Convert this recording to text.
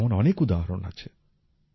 এমন অনেক উদাহরণ আছে